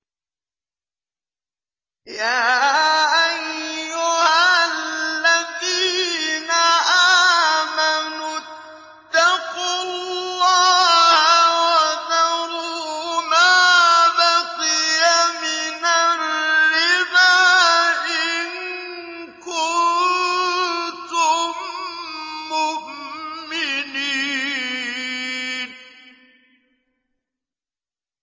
يَا أَيُّهَا الَّذِينَ آمَنُوا اتَّقُوا اللَّهَ وَذَرُوا مَا بَقِيَ مِنَ الرِّبَا إِن كُنتُم مُّؤْمِنِينَ